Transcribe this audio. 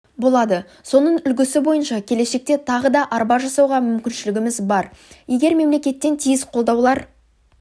болады соның үлгісі бойынша келешекте тағы да арба жасауға мүмкіншілігіміз бар егер мемлекеттен тиісті қолдаулар